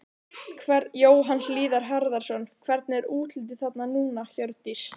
Jóhann Hlíðar Harðarson: Hvernig er útlitið þarna núna, Hjördís?